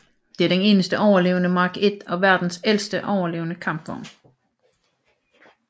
Det er den eneste overlevende Mark I og verdens ældste overlevende kampvogn